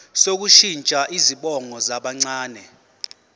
sokushintsha izibongo zabancane